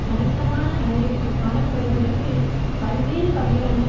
கணிசமான அளவிற்கு காணப்படுவதற்கு பல்வேறு வகையான